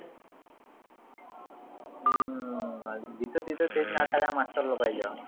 अह जिथं तिथं तेच ना master लोकाहयच